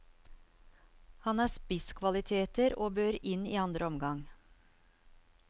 Han har spisskvaliteter, og bør inn i andre omgang.